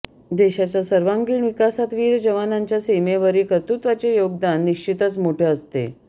देशाच्या सर्वांगिण विकासात वीर जवानांच्या सीमेवरील कर्तृत्वाचे योगदान निश्चितच मोठे असते